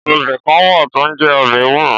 Ọ̀bẹ kàn wà to ń jẹ ọ̀bẹ èwúrò